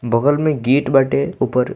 बगल में गेट बाटे ऊपर --